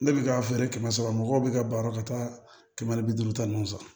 Ne bɛ k'a feere kɛmɛ saba mɔgɔw bɛ ka baro ka taa kɛmɛ ni bi duuru ta ninnu fɛ